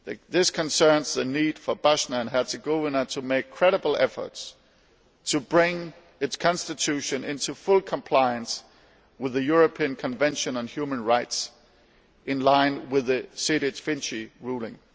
This concerns the need for Bosnia and Herzegovina to make credible efforts to bring its constitution into full compliance with the European Convention on Human Rights in line with the Sejdić Finci ruling.